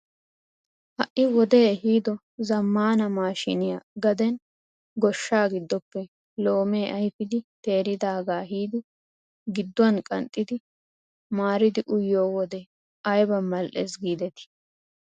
Ha'i wodee ehido zammaana mashiniyaa gaden gooshshaa giddoppe loomee ayfidi teeridagaa ehiidi gidduwaan qanxxidi maaridi uyiyoo wode ayba mal"ees gidetii!